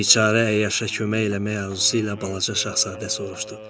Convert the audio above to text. Biçarə əyyaşa kömək eləmək arzusu ilə Balaca şahzadə soruşdu.